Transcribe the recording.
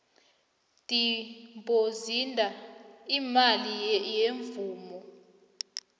dibhozida imali yemvumo